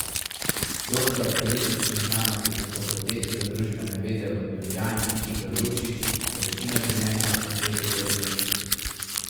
Doktor političnih znanosti na Fakulteti za družbene vede v Ljubljani Igor Lukšič je večino življenja posvetil politiki.